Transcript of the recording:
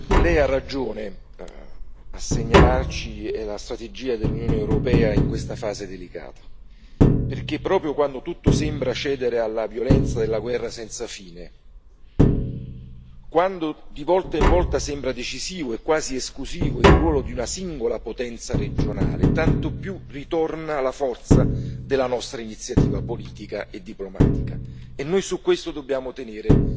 Signor Presidente, onorevoli colleghi, Alto rappresentante, Lei ha ragione a segnalarci la strategia dell'Unione europea in questa fase delicata, perché proprio quando tutto sembra cedere alla violenza della guerra senza fine, quando di volta in volta sembra decisivo e quasi esclusivo il ruolo di una singola potenza regionale, tanto più ritorna la forza della nostra iniziativa politica e diplomatica. E noi su questo dobbiamo tenere